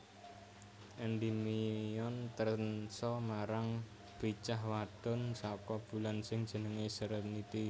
Endimion trensa marang bicah wadon saka bulan sing jenenge Serenity